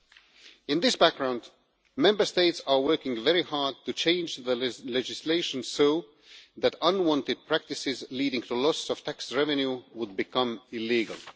Against this background, Member States are working very hard to change the legislation so that unwanted practices leading to loss of tax revenue would become illegal.